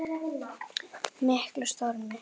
miklum stormi.